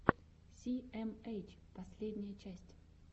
си эм эйч последняя часть